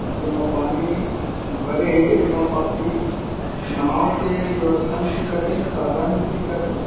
जेमा पानी भरे हे ऐमा बाकि नाव के व्यवस्था नई दिखत थे ना साधन नई दिखत थे।